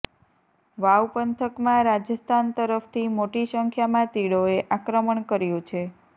વાવ પંથકમાં રાજસ્થાન તરફથી મોટી સંખ્યામાં તીડોએ આક્રમણ કર્યું છે